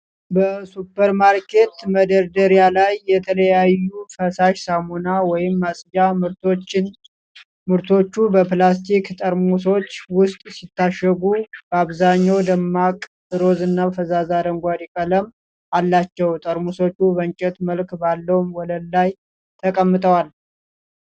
በሱፐርማርኬት መደርደሪያ ላይ የተለያዩ ፈሳሽ ሳሙና ወይም ማጽጃ ምርቶችን። ምርቶቹ በፕላስቲክ ጠርሙሶች ውስጥ ሲታሸጉ፣ በአብዛኛው ደማቅ ሮዝና ፈዛዛ አረንጓዴ ቀለም አላቸው። ጠርሙሶቹ በእንጨት መልክ ባለው ወለል ላይ ተቀምጠዋል።